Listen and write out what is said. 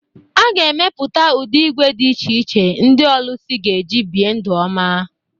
A ga-emepụta ụdị ígwè dị iche iche ndị ọlụsị ga-eji bie ndụ ọma